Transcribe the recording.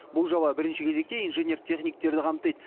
бұл жоба бірінші кезекте инженер техниктерді қамтиды